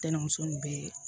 Denmuso nin bɛɛ ye